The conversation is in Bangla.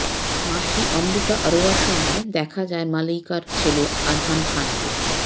মাসি অমৃতা অরোরার সঙ্গে দেখা যায় মালাইকার ছেলে আরহান খানকে